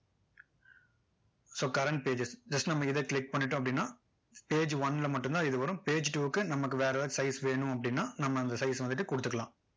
so current page just நம்ம இதை click பண்ணிட்டோம் அப்படின்னா page one ல மட்டும் தான் இது வரும் page two க்கு நமக்கு வேற ஏதாவது size வேணும் அப்படின்னா நம்ம அந்த size ஐ வந்துட்டு கொடுத்துக்கலாம்